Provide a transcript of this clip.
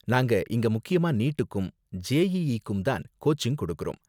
நாங்க இங்க முக்கியமா நீட்க்கும், ஜேஇஇக்கும் தான் கோச்சிங் கொடுக்கறோம்.